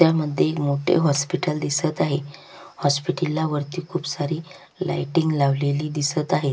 ह्या मध्ये मोठे हॉस्पिटल दिसत आहे हॉस्पिटल ला वरती खुप सारी लायटिंग लावलेली दिसत आहे.